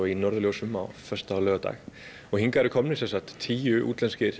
í norðurljósum á föstudag og laugardag og hingað eru komnir tíu útlenskir